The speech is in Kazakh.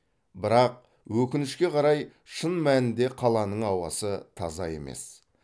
бірақ өкінішке қарай шын мәнінде қаланың ауасы таза емес